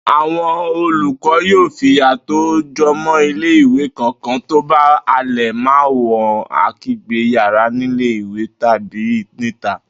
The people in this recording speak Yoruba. Àwo̩n olùkó̩ yóò fìyà tó tó̩ jo̩mo̩ ilé-ìwé kankan tó bá ń halè̩ máwo̩n ake̩gbé̩ yálà nílé ìwé tàbí níta